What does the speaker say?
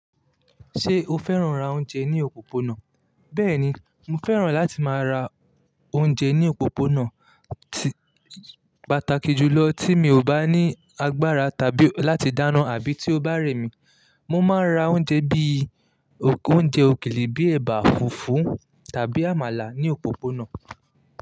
Ṣé o fẹ́ràn ra oúnjẹ ní òpópónà? Bẹ́ẹ̀ni, mo fẹ́ràn láti máa ra oúnjẹ ní òpópónà, pàtàkì jùlọ tí mi ò bá ní agbára tàbí láti dáná àbí tí ó bá rẹ̀ mí. Mo máa ń ra oúnjẹ bí i oúnjẹ òkèlè bíi ẹ̀bà, fùfú tàbí àmàlà ní òpópónà.